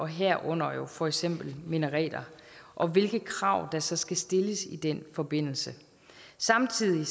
herunder for eksempel minareter og hvilke krav der så skal stilles i den forbindelse samtidig